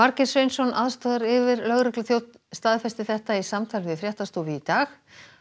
Margeir Sveinsson aðstoðaryfirlögregluþjónn staðfesti þetta í samtali við fréttastofu í dag